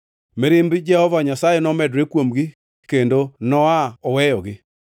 Mirimb Jehova Nyasaye nomedore kuomgi, kendo no-aa oweyogi.